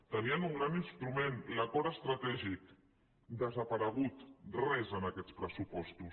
tenien un gran instrument l’acord estratègic desaparegut res en aquests pressupostos